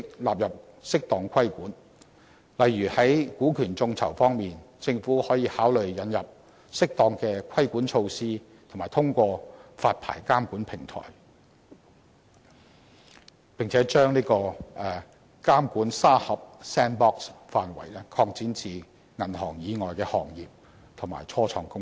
例如在股權眾籌方面，政府可以考慮引入適當的規管措施及通過發牌監管平台，並把"監管沙盒"範圍擴展至銀行以外的行業及初創公司。